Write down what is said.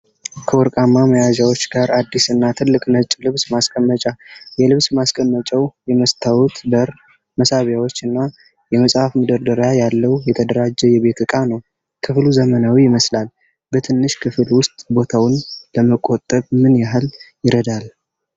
ከወርቃማ መያዣዎች ጋር አዲስ እና ትልቅ ነጭ ልብስ ማስቀመጫ። የልብስ ማስቀመጫው የመስታወት በር፣ መሳቢያዎች እና የመጽሐፍ መደርደሪያ ያለው የተደራጀ የቤት ዕቃ ነው። ክፍሉ ዘመናዊ ይመስላል። በትንሽ ክፍል ውስጥ ቦታን ለመቆጠብ ምን ያህል ይረዳል?